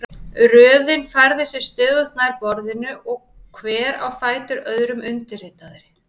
Röðin færði sig stöðugt nær borðinu og hver á fætur öðrum undirritaði.